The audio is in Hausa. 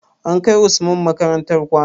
An kai usman makarantar kwana?